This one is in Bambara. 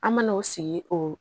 An mana o sigi o